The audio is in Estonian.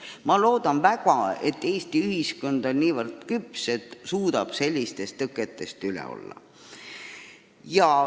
Ma loodan väga, et Eesti ühiskond on nii küps, et suudab sellistest tõketest üle olla.